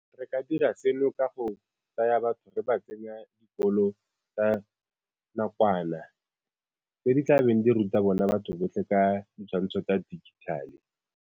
Re ka dira seno ka go tsaya batho re ba tsenya dikolo tsa nakwana tse di tla beng di ruta bona batho botlhe ka ditshwantsho tsa digital-e.